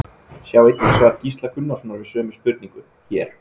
Sjá einnig svar Gísla Gunnarssonar við sömu spurningu, hér.